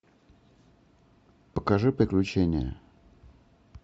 покажи приключения